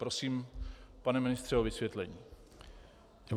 Prosím, pane ministře, o vysvětlení.